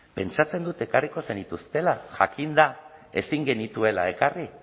pentsatzen dut ekarriko zenituztela jakinda ezin genituela ekarri